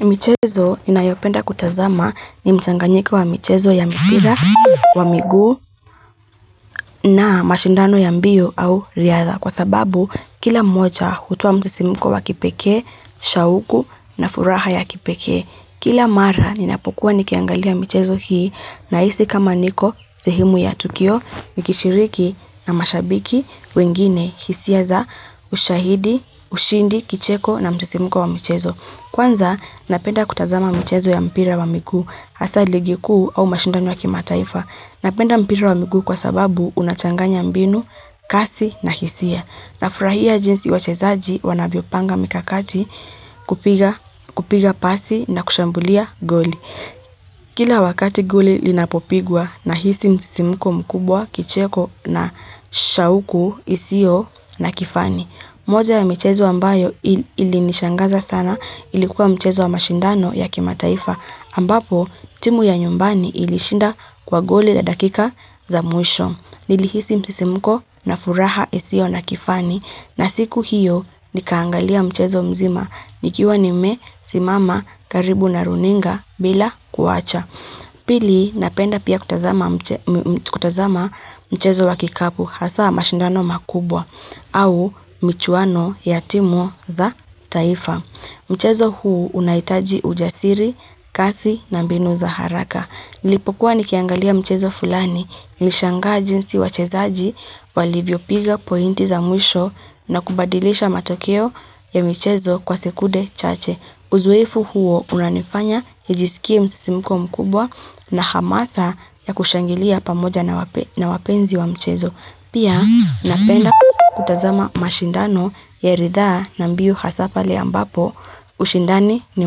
Michezo ninayopenda kutazama ni mchanganyiko wa michezo ya mipira wa miguu na mashindano ya mbio au riadha kwa sababu kila mmoja hutoa msisimiko wa kipekee, shauku na furaha ya kipekee. Kila mara ninapokuwa nikiangalia michezo hii nahisi kama niko sehemu ya tukio, nikishiriki na mashabiki wengine hisia za ushahidi, ushindi, kicheko na msisimuko wa michezo. Kwanza, napenda kutazama mchezo ya mpira wa miguu, hasa ligi kuu au mashindano ya kimataifa. Napenda mpira wa miguu kwa sababu, unachanganya mbinu, kasi na hisia. Nafurahia jinsi wachezaji wanavyopanga mikakati, kupiga pasi na kushambulia goli. Kila wakati goli linapopigwa nahisi msisimuko mkubwa, kicheko na shauku, isio na kifani. Moja ya michezo ambayo ilinishangaza sana, ilikuwa mchezo wa mashindano ya kimataifa ambapo timu ya nyumbani ilishinda kwa goli la dakika za mwisho. Nilihisi msisimko na furaha isio na kifani na siku hiyo nikaangalia mchezo mzima nikiwa nimesimama karibu na runinga bila kuwacha. Pili, napenda pia kutazama mchezo wa kikapu hasa mashindano makubwa au michuano ya timu za taifa. Mchezo huu unahitaji ujasiri, kasi na mbinu za haraka. Niliipokuwa nikiangalia mchezo fulani, nilishangaji jinsi wachezaji walivyopiga pointi za mwisho na kubadilisha matokeo ya michezo kwa sekunde chache. Uzoefu huo unanifanya nijisikie msisimuko mkubwa na hamasa ya kushangilia pamoja na wapenzi wa mchezo. Pia, napenda kutazama mashindano ya ridhaa na mbio hasa pale ambapo ushindani ni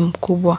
mkubwa.